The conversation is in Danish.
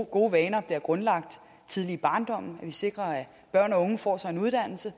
gode vaner bliver grundlagt tidligt i barndommen at vi sikrer at børn og unge får sig en uddannelse